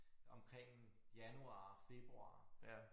Omkring januar februar